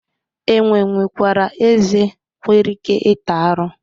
Enwe nwekwara ezé nwere ike ịta arụ.